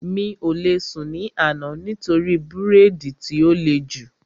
Mi ò lè sùn ní àná nítorí bírèèdì tí ó le jù